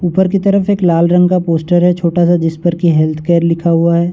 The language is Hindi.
ऊपर की तरफ एक लाल रंग का पोस्टर है छोटा-सा जिस पर कि हैल्थ केयर लिखा हुआ है।